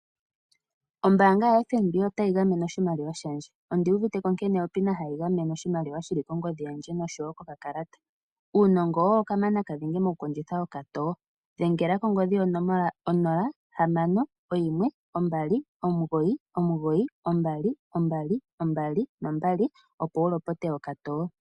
Ombaanga yaFNB otayi gamene oshimaliwa shandje. Ondu uvite ko nkene opina hayi gamene oshimaliwa shili kongodhi yandje noshowo kokakalata. Uunongo owo kamanakanene mokukondjitha okatoyo dhengela kongodhi yonomola 061299 2222 opo wu lopote okatoo.